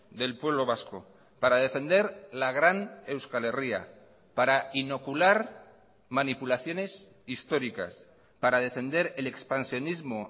del pueblo vasco para defender la gran euskal herria para inocular manipulaciones históricas para defender el expansionismo